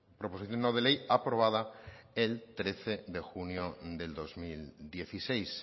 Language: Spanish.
proposición no de ley aprobada el trece de junio del dos mil dieciséis